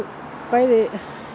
bæði